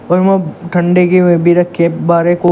और वहां ठंडे के वह भी रखे हैं को--